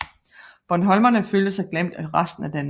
Bornholmerne følte sig glemt af resten af Danmark